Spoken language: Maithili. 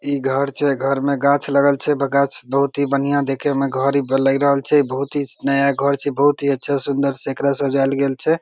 इ घर छे घर मे गाछ लगल छे तो गाछ बहुत ही बढ़िया देखे मे घर लगल छे बहुत ही नया घर छे बहुत ही अच्छा सुन्दर से येकरा सजायल गेल छे।